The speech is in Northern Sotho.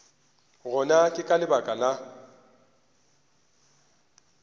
gona ke ka lebaka la